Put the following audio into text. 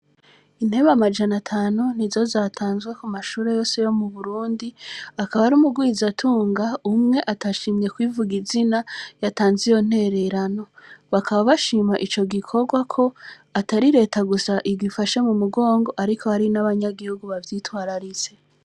Intebe amajana atanu ni zo zatanzwe ku mashure yose yo mu Burundi, akaba ari umurwizatunga umwe atashimye kwivuga izina yatanze iyo ntererano. Bakaba bashima ico gikorwa ko, atari leta gusa igifashe mu mugongo, ariko hari n’abanyagihugu bavyitwararitse.